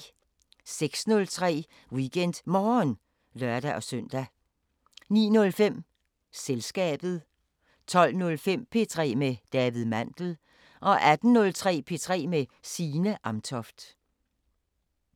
06:03: WeekendMorgen (lør-søn) 09:05: Selskabet 12:05: P3 med David Mandel 18:03: P3 med Signe Amtoft